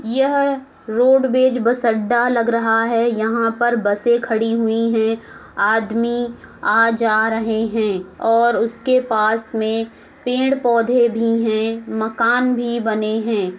यह roadways bus अड्डा लग रहा है। यहाँ पर बसें खड़ी हुई हैं। आदमी आ जा रहे हैं और उसके पास में पेड़ पौधे भी हैं। मकान भी बने हैं।